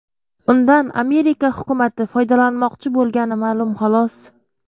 Undan Amerika hukumati foydalanmoqchi bo‘lgani ma’lum, xolos.